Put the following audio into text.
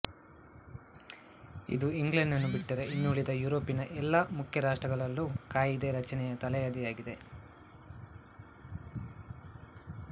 ಇದು ಇಂಗ್ಲೆಂಡನ್ನು ಬಿಟ್ಟರೆ ಇನ್ನುಳಿದ ಯುರೋಪಿನ ಎಲ್ಲ ಮುಖ್ಯ ರಾಷ್ಟ್ರಗಳಲ್ಲೂ ಕಾಯಿದೆ ರಚನೆಯ ತಳಹದಿಯಾಗಿದೆ